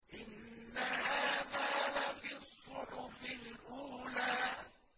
إِنَّ هَٰذَا لَفِي الصُّحُفِ الْأُولَىٰ